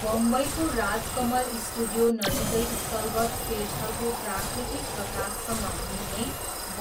बम्बईको राजकमल स्टुडियोनजिकै स्थलगत सेटहरूको प्राकृतिक प्रकाशसँग मिल्ने